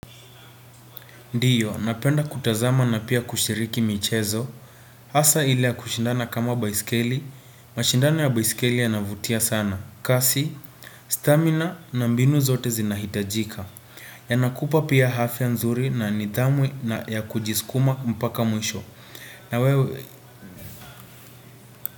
Ndiyo napenda kutazama na pia kushiriki michezo hasa ile ya kushindana kama baiskeli mashindano ya baiskeli yanavutia sana kasi stamina na mbinu zote zinahitajika Yanakupa pia hafya nzuri na nidhamu ya kujiskuma mpaka mwisho na wewe.